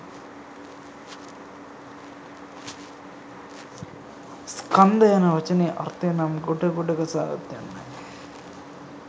ස්කන්ධ යන වචනයේ අර්ථය නම් ගොඩ ගොඩ ගසාගත් යන්නයි.